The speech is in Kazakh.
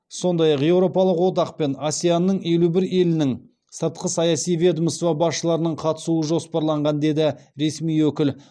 сондай ақ еуропалық одақ пен асеан ның елу бір елінің сыртқы саяси ведомство басшыларының қатысуы жоспарланған деді ресми өкіл